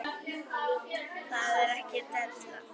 Það er ekki della.